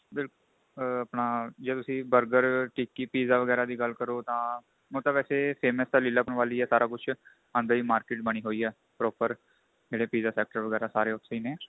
ਬਿਲਕੁਲ ਆ ਆਪਣਾ ਜੇ ਤੁਸੀਂ burger ਟਿੱਕੀ pizza ਵਗੈਰਾ ਦੀ ਗੱਲ ਕਰੋ ਤਾਂ ਉਹ ਤਾਂ ਵੈਸੇ famous ਤਾਂ ਲੀਲਾ ਭਵਨ ਵੱਲ ਹੀ ਹੈ ਸਾਰਾ ਕੁੱਝ ਅੰਦਰ ਹੀ market ਬਣੀ ਹੋਈ ਏ proper ਜਿਹੜੇ pizza ਸੇਕਟਰ ਵਗੈਰਾ ਸਾਰੇ ਉੱਥੇ ਈ ਨੇ